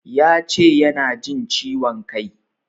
Ya ce yana jin ciwon kai.